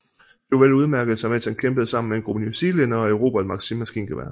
Chauvel udmærkede sig mens han kæmpede sammen med en gruppe newzealændere og erobrede et Maxim maskingevær